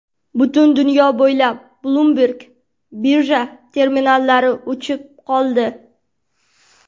Butun dunyo bo‘ylab Bloomberg birja terminallari o‘chib qoldi.